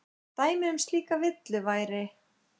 Dæmi um slíka villu væri